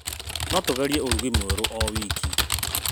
No tũgerie ũrugi mwerũ o wiki.